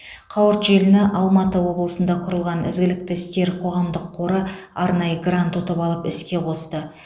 қауырт желіні алматы облысында құрылған ізгілікті істер қоғамдық қоры арнайы грант ұтып алып іске қосты